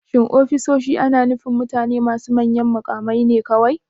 Shin ofisoshi ana nufin mutane masu manyan mukamai ne kawai?